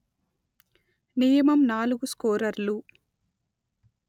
నియమం నాలుగు స్కోరర్లు